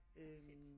Fedt